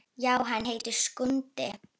Já, hann heitir Skundi.